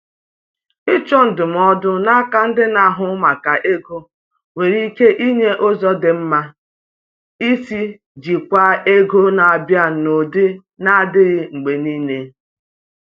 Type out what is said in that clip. Ịchọ ndụmọdụ n'aka ndị na-ahụ maka ego nwere ike inye ụzọ dị mma isi jikwaa ego na-abịa n’ụdị na-adịghị mgbe niile.